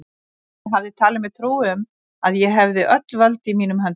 Ég hafði talið mér trú um, að ég hefði öll völd í mínum höndum.